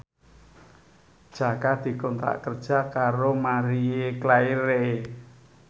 Jaka dikontrak kerja karo Marie Claire